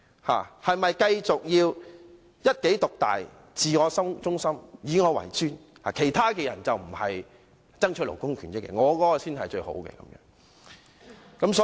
是否要繼續一己獨大、自我中心、以我為尊，認為其他人不是爭取勞工權益，自己的建議才是最好的？